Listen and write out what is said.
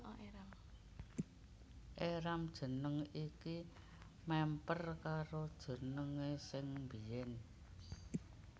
Éram jeneng iki mèmper karo jenengé sing biyèn